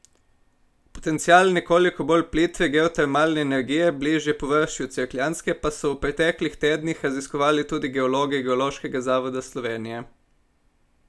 Potencial nekoliko bolj plitve geotermalne energije bližje površju Cerkljanske pa so v preteklih tednih raziskovali tudi geologi Geološkega zavoda Slovenije.